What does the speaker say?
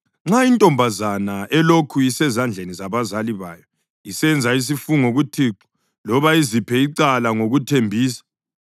Nxa intombazana elokhu isezandleni zabazali bayo isenza isifungo kuThixo loba iziphe icala ngokuthembisa